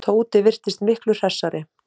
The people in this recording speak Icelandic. Tóti virtist miklu hressari.